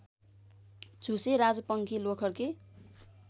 झुसे राजपङ्खी लोखर्के